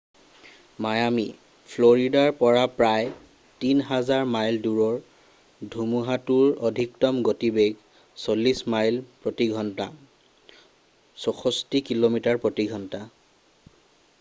Miami ফ্লৰিদাৰ পৰা প্ৰায় ৩,০০০ মাইল দূৰৰ ধুমুহাতোৰ অধিকতম গতিবেগ ৪০ মাইল প্ৰতি ঘণ্টা ৬৪ কিলোমিটাৰ প্ৰতি ঘণ্টা।